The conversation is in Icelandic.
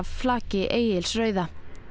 flaki Egils rauða